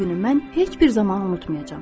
O günü mən heç bir zaman unutmayacağam.